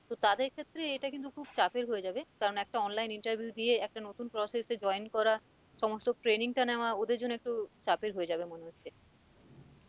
তো তাদের ক্ষেত্রে এটা কিন্তু খুব চাপের হয়ে যাবে কারণ একটা online interview দিয়ে একটা নতুন process এ join করা সমস্ত training টা নেওয়া ওদের জন্য একটু চাপের হয়ে যাবে মনে হচ্ছে